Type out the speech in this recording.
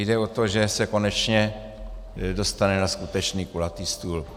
Jde o to, že se konečně dostane na skutečný kulatý stůl.